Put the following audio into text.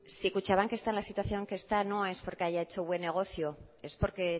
si kutxabank está en la situación que está no es porque haya hecho buen negocio es porque